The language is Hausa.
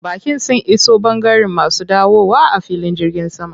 Baƙin sun iso ɓangaren masu dawowa a filin jirgin sama.